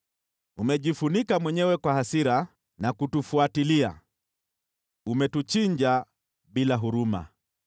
“Umejifunika mwenyewe kwa hasira na kutufuatilia; umetuchinja bila huruma.